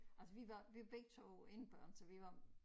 Altså vi var vi begge 2 enebørn så vi var